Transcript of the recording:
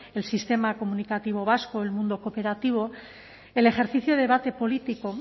el sistema comunicativo vasco y el mundo cooperativo el ejercicio de debate político